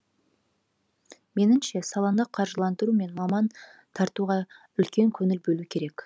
меніңше саланы қаржыландыру мен маман тартуға үлкен көңіл бөлу керек